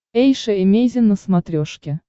эйша эмейзин на смотрешке